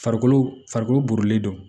Farikolo farikolo burulen don